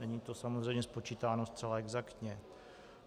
Není to samozřejmě spočítáno zcela exaktně.